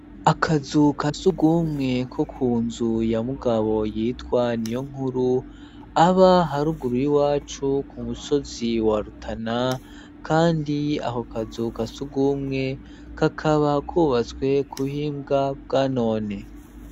Akazu ka sugumwe ko ku nzu ya mugabo yitwa niyonkuru aba haruguru y'iwacu ku musozi wa rutana, kandi aho kazu ka sugumwe kakaba kubatswe kuhimbwa bwa none.